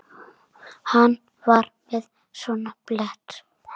Hann var með svona blett.